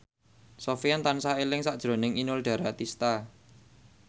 Sofyan tansah eling sakjroning Inul Daratista